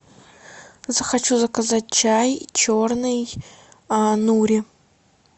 захочу заказать чай черный нури